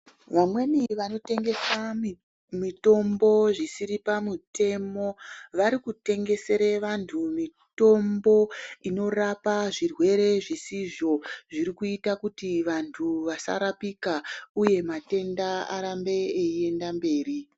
Vamweni vanotengesa mitombo zvisiri pamutemo varikutengesere vantu mitombo inorapa zvirwere zvisizvo zvirkuita kuti vantu vasarapika uye matenda arambe eienda mberi.